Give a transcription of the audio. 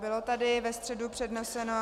Bylo tady ve středu předneseno -